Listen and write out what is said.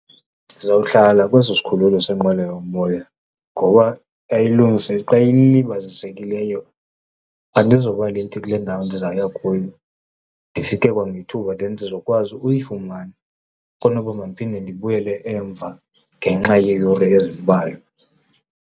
Ndizawuhlala kwesi sikhululo senqweloyomoya ngoba xa ilibazisekileyo andizowuba late kule ndawo ndizawuya kuyo, ndifike kwangethuba then ndizokwazi ukuyifumane kunoba mandiphinde ndibuyele emva ngenxa yeeyure ezimbalwa.